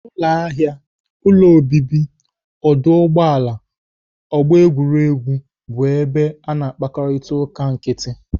Ụlọ ahịa, ụlọ obibi, ọdụ ụgbọala, ọgbọ egwuregwu bụ ebe a na-akparịta uka nkịtị.